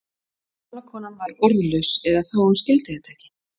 Gamla konan var orðlaus eða þá að hún skildi þetta ekki.